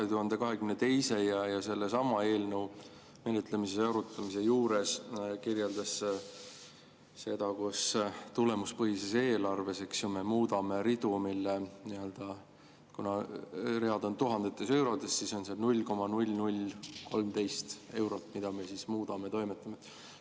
ja sellesama eelnõu menetlemise ja arutamise juures kirjeldas seda, kuidas tulemuspõhises eelarves me muudame ridu, mille puhul, kuna read on tuhandetes eurodes, on seal eurot, mida me siis muudame ja millega toimetame.